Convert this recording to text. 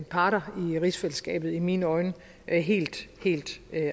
parter i rigsfællesskabet i mine øjne helt helt